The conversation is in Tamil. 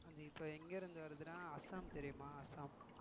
அது இப்போ எங்க இருந்து வருதுன்னா அஸ்ஸாம் தெரியுமா அஸ்ஸாம்